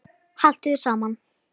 Haltu þér saman